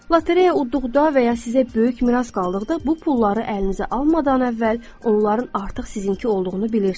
Lotereya udduqda və ya sizə böyük miras qaldıqda bu pulları əlinizə almadan əvvəl onların artıq sizinki olduğunu bilirsiz.